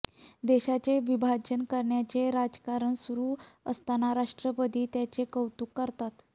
देशाचे विभाजन करण्याचे राजकारण सुरू असताना राष्ट्रपती त्याचे कौतुक करतात